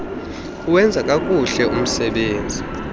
kuwenza kakuhle umsebenzi